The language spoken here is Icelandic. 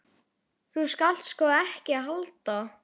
Þú skalt sko ekki halda.